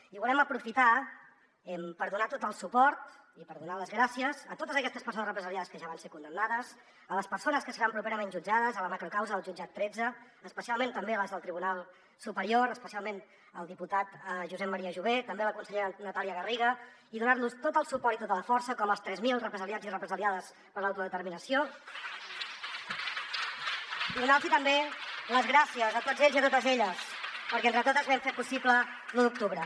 i volem aprofitar per donar tot el suport i per donar les gràcies a totes aquestes persones represaliades que ja van ser condemnades a les persones que seran properament jutjades a la macrocausa del jutjat tretze especialment també a les del tribunal superior especialment el diputat josep maria jové també la consellera natàlia garriga i donar los tot el suport i tota la força com als tres mil represaliats i represaliades per l’autodeterminació i donar los també les gràcies a tots ells i a totes elles perquè entre totes vam fer possible l’u d’octubre